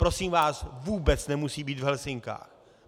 Prosím vás, vůbec nemusí být v Helsinkách.